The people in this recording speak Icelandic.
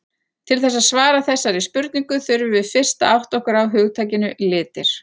Til þess að svara þessari spurningu þurfum við fyrst að átta okkur á hugtakinu litir.